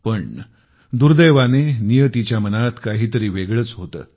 पण दुर्दैवाने नियतीच्या मनात काहीतरी वेगळेच होते